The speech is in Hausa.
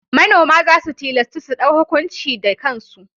Manoma za su tilastu su ɗau hukunci da kansu.